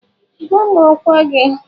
Gwa m ọkwa gị.